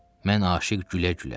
Mən aşiq gülə-gülə.